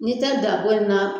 N'i tɛ daabɔ in na